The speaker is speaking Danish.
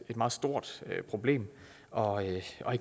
meget stort problem og ikke